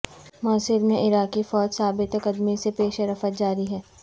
موصل میں عراقی فوج ثابت قدمی سے پیش رفت جاری ہے